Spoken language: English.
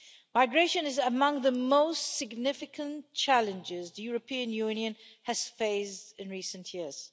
Migration is among the most significant challenges the European Union has faced in recent years.